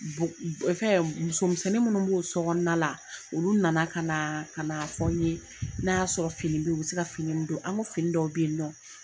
fɛn muso misɛnnin minnu b'o sokɔnɔna la olu na na ka na ka na fɔ n ye n'a y'a sɔrɔ fini bɛ ye o bɛ se ka fini minnu don an ko fini dɔw bɛ yen nɔn.